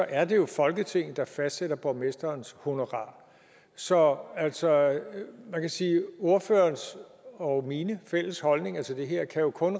er er det jo folketinget der fastsætter borgmesterens honorar så så man kan sige at ordførerens og min fælles holdninger til det her jo kun